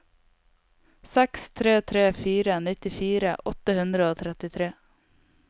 seks tre tre fire nittifire åtte hundre og trettitre